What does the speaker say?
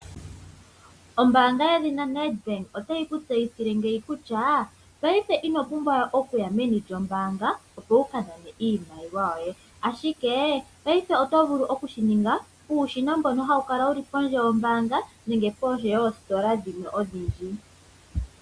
Ombanga yedhina Nedbank otayi ku tseyithile kutya paife inopumbwa okuya meni lyombaanga opo wukanane iimaliwa yoye ashike paife otovulu okushininga kuushina mboka hawu kala pondje yombaanga nenge pondje dhoositola dhimwe oshindji.